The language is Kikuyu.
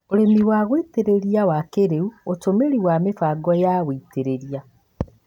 ũrĩmi wa gũitĩrĩria wa kĩrĩu: ũtũmĩri wa mĩbango ya wĩitĩrĩria